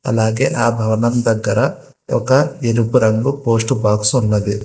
అలాగే ఆ భవనం దగ్గర ఒక ఎరుపు రంగు పోస్టు బాక్స్ ఉన్నది.